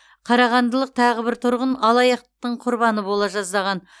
қарағандылық тағы бір тұрғын алаяқтықтың құрбаны бола жаздаған